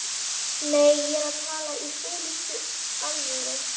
Nei, ég er að tala í fúlustu alvöru